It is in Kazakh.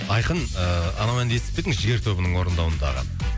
айқын ыыы анау әнді естіп пе едің жігер тобының орындауындағы